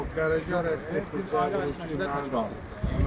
Sağ gələcək arzusu sizinlə qalsın.